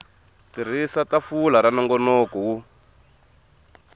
tirhisa tafula ra nongonoko wo